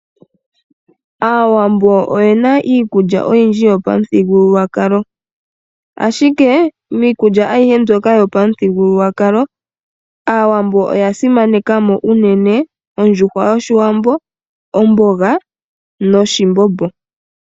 Aawambo oye na iikulya oyindji yopamuthigululwakalo ashike miikulya ayihe mbyoka yopamuthigululwakalo aawambo oya simanekamo unene ondjuhwa yoshiwambo, omboga noshimbombo.